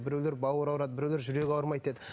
біреулер бауыры ауырады біреулер жүрегі ауырмайды деді